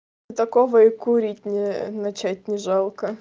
и такого и курить не начать не жалко